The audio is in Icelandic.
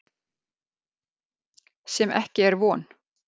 Sem ekki er von.